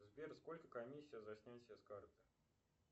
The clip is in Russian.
сбер сколько комиссия за снятие с карты